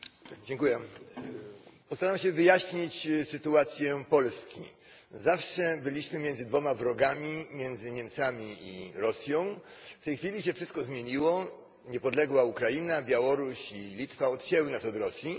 Pani Przewodnicząca! Postaram się wyjaśnić sytuację Polski zawsze byliśmy między dwoma wrogami, między Niemcami i Rosją. W tej chwili się wszystko zmieniło, niepodległa Ukraina, Białoruś i Litwa odcięły nas od Rosji.